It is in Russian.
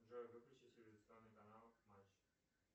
джой выключи телевизионный канал матч